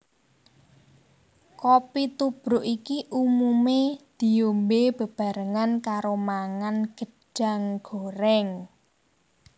Kopi tubruk iki umumé diombé bebarengan karo mangan gedhang gorèng